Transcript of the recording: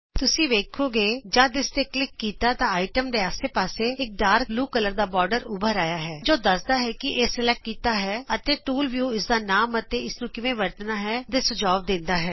ਤੁਸੀਂ ਵੇਖੋਗੇ ਕਿ ਜਸ ਤੁਸੀਂ ਇਸ ਤੇ ਕਲਿਕ ਕੀਤਾ ਤਾਂ ਆਈਟਮ ਦੇ ਆਸੇ ਪਾਸੇ ਇਕ ਗੂੜਾ ਨੀਲਾ ਬੋਰਡਰ ਉਭਰ ਆਇਆ ਹੈ ਜਿਹੜਾ ਦਰਸਾਂਦਾ ਹੈ ਕਿ ਇਹ ਸਲੈਕਟ ਕੀਤਾ ਗਿਆ ਹੈ ਅਤੇ ਟੂਲ ਵਿਊ ਇਸਦਾ ਨਾਮ ਅਤੇ ਇਸ ਨੂੰ ਕਿਵੇਂ ਵਰਤਣਾ ਹੈ ਦੇ ਸੁਝਾਅ ਦਰਸਾਂਦਾ ਹੈ